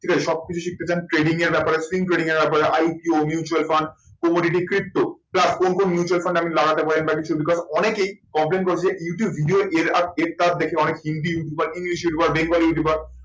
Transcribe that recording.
ঠিক আছে সব কিছু শিখতে চান training এর ব্যাপারে ব্যাপারে mutual fund কোন কোন mutual fund এ আপনি লাগাতে পারেন বা অনেকেই complaint করেছে যে ইউটিউব video এর তার দেখে অনেক hindi YouTuber english YouTuber, bengali YouTuber